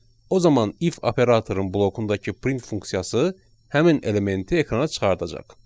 o zaman if operatorun blokundakı print funksiyası həmin elementi ekrana çıxardacaq.